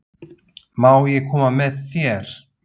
Má ég koma með þér?